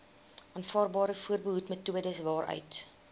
aanvaarbare voorbehoedmetodes waaruit